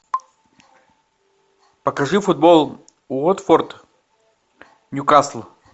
покажи футбол уотфорд ньюкасл